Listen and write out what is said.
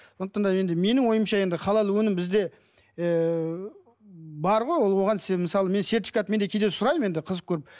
сондықтан да енді менің ойымша енді халал өнім бізде ыыы бар ғой ол оған мысалы мен сертификат мен де кейде сұраймын енді қызық көріп